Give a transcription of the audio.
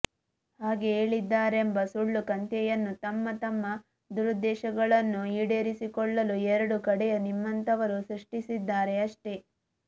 ಹಾಗೆ ಹೇಳಿದ್ದಾರೆಂಬ ಸುಳ್ಳು ಕಂತೆಯನ್ನು ತಮ್ಮ ತಮ್ಮ ದುರುದ್ದೆಶಗಳನ್ನು ಈಡೇರಿಸಿಕೊಳ್ಳಲು ಎರಡೂ ಕಡೆಯ ನಿಮ್ಮಂತವರು ಸೃಷ್ಟಿಸಿದ್ದಾರೆ ಅಷ್ಟೇ